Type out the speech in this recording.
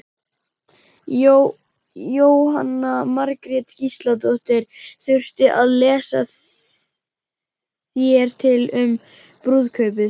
Jóhanna Margrét Gísladóttir: Þurftirðu að lesa þér til um brúðkaupið?